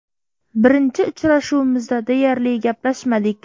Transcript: Birinchi uchrashuvimizda deyarli gaplashmadik.